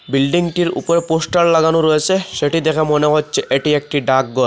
বিল্ডিংটির উপর পোস্টার লাগানো রয়েসে সেটি দেখে মনে হচ্ছে এটি একটি ডাকগর ।